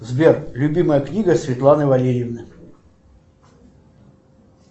сбер любимая книга светланы валерьевны